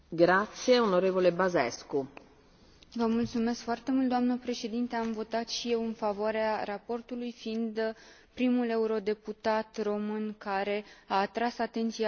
Doamnă președinte, am votat și eu în favoarea raportului, fiind primul eurodeputat român care a atras atenția asupra lipsei unei legislații pentru accesarea FEAG.